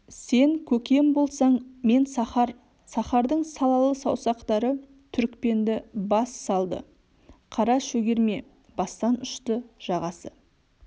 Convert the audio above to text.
сен көкем болсаң мен сахар сахардың салалы саусақтары түрікпенді бас салды қара шөгерме бастан ұшты жағасы